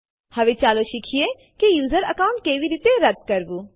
હવે ચાલો શીખીએ કે યુઝર અકાઉન્ટ કેવી રીતે રદ કરવું